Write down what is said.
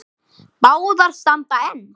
Báðar standa enn.